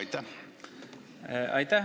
Aitäh!